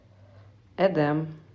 эдем